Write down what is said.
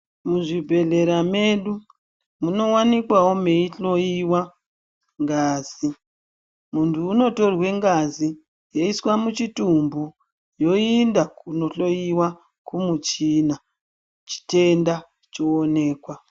Muzvibhedhlera medu munowanikwawo meyihloyiwa ngazi. Muntu unotorwe ngazi yoiswa muchitumbu yoinda kunohloyiwa kumuchina chitenda choonekwa.